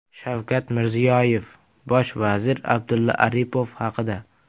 Shavkat Mirziyoyev bosh vazir Abdulla Aripov haqida.